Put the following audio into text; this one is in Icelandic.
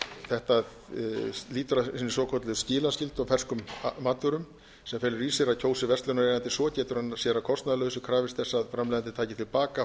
þetta lýtur að hinni svokölluðu skilaskyldu á ferskum matvörum sem felur í sér að kjósi verslunareigandi svo getur hann sér að kostnaðarlausu krafist þess að framleiðandi taki til baka